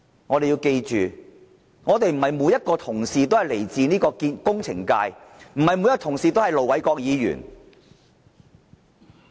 我們要記着，不是每一位同事都來自工程界，不是每一位同事都是盧偉國議員。